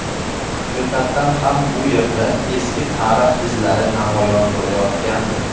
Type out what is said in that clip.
Haqiqatan ham bu yerda eski tarix izlari namoyon bo‘layotgandi”.